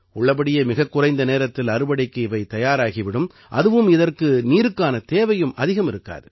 உள்ளபடியே மிகக் குறைந்த நேரத்தில் அறுவடைக்கு இவை தயாராகி விடும் அதுவும் இதற்கு நீருக்கான தேவையும் அதிகம் இருக்காது